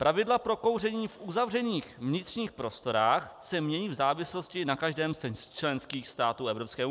Pravidla pro kouření v uzavřených vnitřních prostorách se mění v závislosti na každém z členských států EU.